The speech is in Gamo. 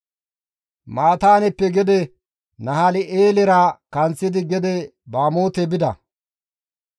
Mataaneppeka gede Nahal7eelera kanththidi gede Bamoote bida.